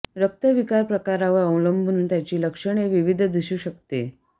रक्त विकार प्रकारावर अवलंबून त्याची लक्षणे विविध दिसू शकते